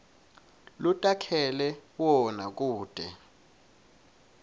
lotakhele wona kute